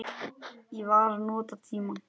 Ég var að nota tímann.